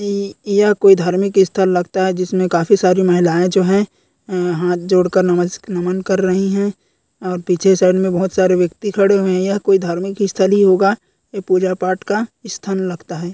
य यह कोई धार्मिक स्थल लगता है जिसमें काफी सारी महिलाओं जो है हाथ जोड़कर नमस-नमन कर रही है और पीछे साइड में बहोत सारे व्यक्ति खड़े है यह कोई धार्मिक स्थल ही होगा ये पूजा-पाठ का स्थल लगता है।